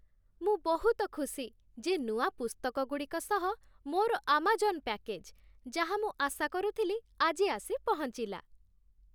ମୁଁ ବହୁତ ଖୁସି ଯେ ନୂଆ ପୁସ୍ତକଗୁଡ଼ିକ ସହ ମୋର ଆମାଜନ୍ ପ୍ୟାକେଜ୍, ଯାହା ମୁଁ ଆଶା କରୁଥିଲି, ଆଜି ଆସି ପହଞ୍ଚିଲା।